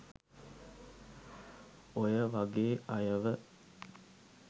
ඔය වගේ අයව